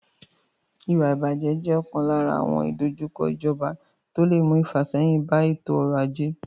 Ìwà ìbàjẹ́ jẹ́ ọ̀kan lára àwọn ìdojúkọ ìjọba tó lè mú ìfàsẹ́yìn bá ètò ọrọ̀ ajé.